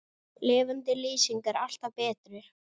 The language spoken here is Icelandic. Lifandi lýsing er alltaf betri.